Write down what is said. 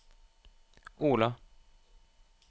Ola